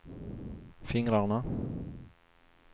fingrarna